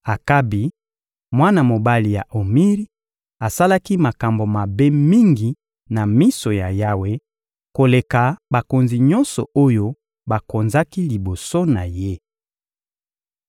Akabi, mwana mobali ya Omiri, asalaki makambo mabe mingi na miso ya Yawe koleka bakonzi nyonso oyo bakonzaki liboso na ye.